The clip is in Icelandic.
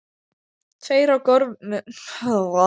Tveir á gormum niður úr loftinu.